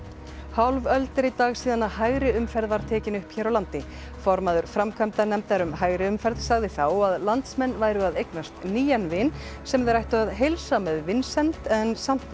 hálf öld er í dag síðan hægri umferð var tekin upp hér á landi formaður framkvæmdanefndar um hægri umferð sagði þá að landsmenn væru að eignast nýjan vin sem þeir ættu að heilsa með vinsemd en samt